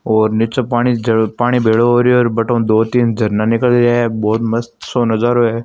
और नीच पाणी पाणी भेलो होरा है बठ ऊ दो तीन झरना निकल रिया ए बहुत मस्त सो नज़ारों है।